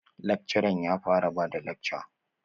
Lakcaran ya fara bada lakca?